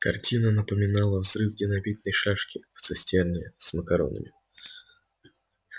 картина напоминала взрыв динамитной шашки в цистерне с макаронами